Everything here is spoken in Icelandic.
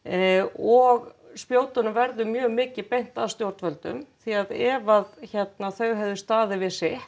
og spjótunum verður mjög mikið beint að stjórnvöldum því að ef að þau hefðu staðið við sitt